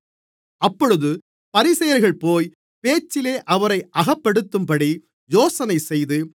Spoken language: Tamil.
அப்பொழுது பரிசேயர்கள்போய் பேச்சிலே அவரை அகப்படுத்தும்படி யோசனைசெய்து